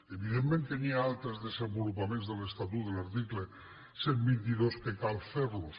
evidentment que hi ha altres desenvolupaments de l’estatut de l’article cent i vint dos que cal fer los